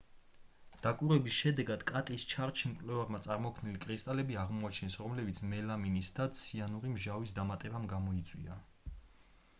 დაკვირვების შედეგად კატის შარდში მკვლევარებმა წარმოქმნილი კრისტალები აღმოაჩინეს რომელიც მელამინის და ციანური მჟავის დამატებამ გამოიწვია